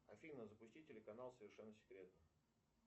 афина запусти телеканал совершенно секретно